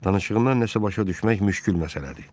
Danışığından nəsə başa düşmək müşkül məsələdir.